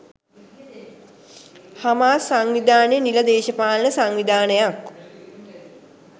Hamas සංවිධානය නිල දේශපාලන සංවිධානයක්